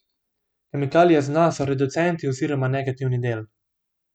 Kemikalije z dna so reducenti oziroma negativni del.